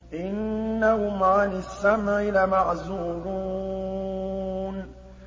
إِنَّهُمْ عَنِ السَّمْعِ لَمَعْزُولُونَ